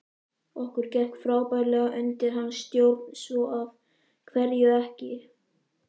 Okkur gekk frábærlega undir hans stjórn svo af hverju ekki?